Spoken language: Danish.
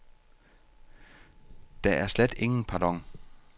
Der er slet ingen pardon.